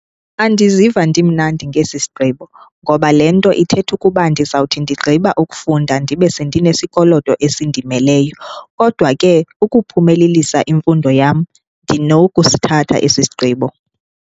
Andiziva ndimnandi ngesi sigqibo ngoba lee nto ithetha ukuba ndizawuthi ndigqiba ukufunda ndibe sendinesikoloto esindimeleyo, kodwa ke ukuphumelelisa imfundo yam ndinokusithatha esi isigqibo.